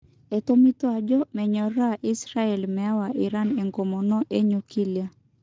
Etomito ajo:Menyoraa Israel mewa Iran enkomono e nyukilia.''